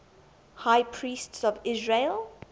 high priests of israel